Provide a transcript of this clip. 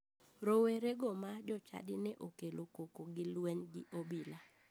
Rowerego ma jochadi ne okelo koko gi luweny gi obila.